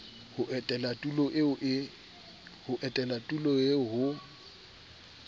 ho etela tulo eo ho